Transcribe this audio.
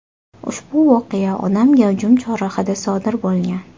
Ushbu voqea odam gavjum chorrahada sodir bo‘lgan.